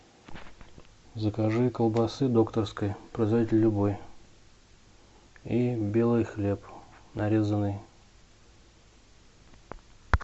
закажи колбасы докторской производитель любой и белый хлеб нарезанный